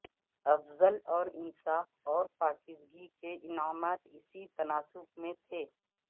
افضل اور انصاف اور پاکیزگی کے انعامات اسی تناسب میں تھے